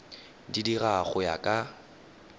di dira go ya ka